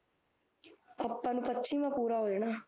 ਆਪਾਂ ਨੂੰ ਪੱਚੀ ਵਾ ਪੂਰਾ ਹੋ ਜਾਣਾ